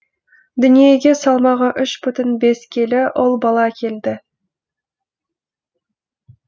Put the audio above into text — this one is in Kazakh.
дүниеге салмағы үш бүтін бес келі ұл бала келді